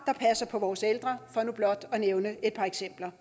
at passe på vores ældre for nu blot at nævne et par eksempler